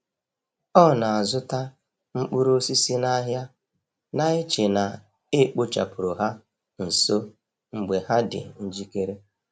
O na-azụta mkpụrụ osisi n’ahịa, na-eche na e kpochapụrụ ha nso mgbe ha dị njikere.